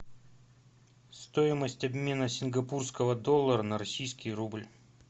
стоимость обмена сингапурского доллара на российский рубль